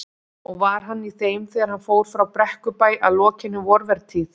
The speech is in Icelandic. Og var hann í þeim þegar hann fór frá Brekkubæ að lokinni vorvertíð.